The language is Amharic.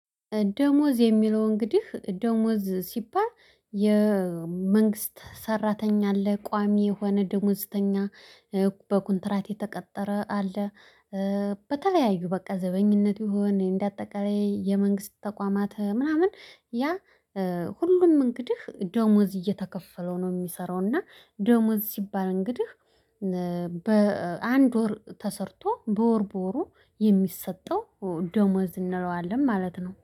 ደሞዝ የሚለው እንግዲህ ደሞዝ ሲባል የመንግስት ሰራተኛ አለ ቋሚ የሆነ ደሞዝተኛ በኮንትራት የተቀጠረ አለ። በተለያዩ በቃ ዘበኝነት ይሁን እንደ አጠቃላይ የመንግስት ተቋማት ምናምን ያ ሁሉም እንግዲህ ደሞዝ እየተከፈለው ነው እሚሰራው። እና ደሞዝ ሲባል እንግዲህ በአንድ ወር ተሰርቶ በወር በወሩ የሚሰጠው ደሞዝ እንለዋለን ማለት ነው